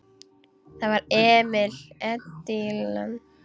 Það var Emil Edilon.